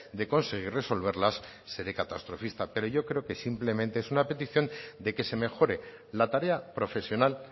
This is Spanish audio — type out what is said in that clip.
de conseguir resolverlas seré catastrofista pero yo creo que simplemente es una petición de que se mejore la tarea profesional